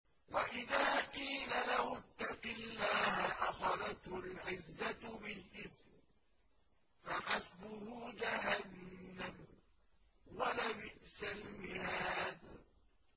وَإِذَا قِيلَ لَهُ اتَّقِ اللَّهَ أَخَذَتْهُ الْعِزَّةُ بِالْإِثْمِ ۚ فَحَسْبُهُ جَهَنَّمُ ۚ وَلَبِئْسَ الْمِهَادُ